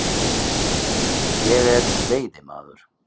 Ég er veiðimaður.